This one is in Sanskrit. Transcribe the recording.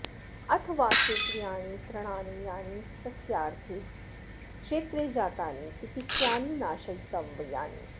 अथ वा क्षेत्रियाणि तृणानि यानि सस्यार्थे क्षेत्रे जातानि चिकित्स्यानि नाशयितव्यानि